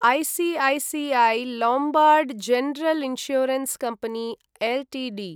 ICICI Lombard General Insurance Company Ltd